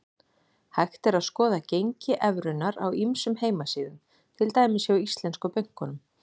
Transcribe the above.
Hægt er að skoða gengi evrunnar á ýmsum heimasíðum, til dæmis hjá íslensku bönkunum.